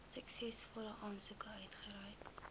suksesvolle aansoekers uitgereik